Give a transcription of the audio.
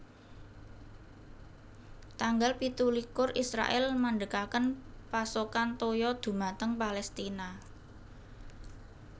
Tanggal pitu likur Israèl mandhegaken pasokan toya dhumateng Palestina